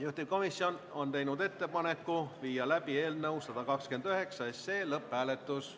Juhtivkomisjon on teinud ettepaneku viia läbi eelnõu 129 lõpphääletus.